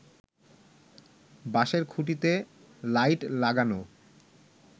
বাঁশের খুঁটিতে লাইট লাগানো